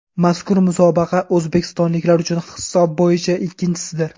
Mazkur musobaqa o‘zbekistonliklar uchun hisob bo‘yicha ikkinchisidir.